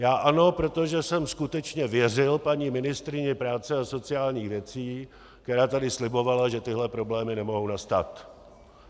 Já ano, protože jsem skutečně věřil paní ministryni práce a sociálních věcí, která tady slibovala, že tyhle problémy nemohou nastat.